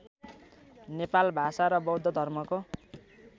नेपाल भाषा र बौद्धधर्मको